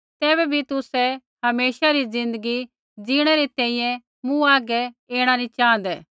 तैबै भी तुसै हमेशा री ज़िन्दगी जिणै री तैंईंयैं मूँ हागै ऐणा नैंई च़ाँहदै